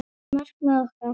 Markmið okkar?